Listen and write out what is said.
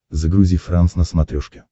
загрузи франс на смотрешке